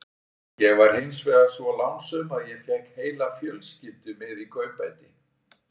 Ég var hins vegar svo lánsöm að ég fékk heila fjölskyldu með í kaupbæti.